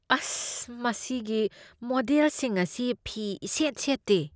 ꯑꯁ! ꯃꯁꯤꯒꯤ ꯃꯣꯗꯦꯜꯁꯤꯡ ꯑꯁꯤ ꯐꯤ ꯏꯁꯦꯠ ꯁꯦꯠꯇꯦ꯫